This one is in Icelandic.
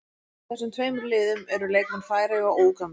Í þessum tveimur liðum eru leikmenn Færeyja og Úganda.